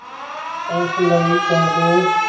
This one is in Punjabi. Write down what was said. ਇਸ ਲਈ ਚੰਗੇ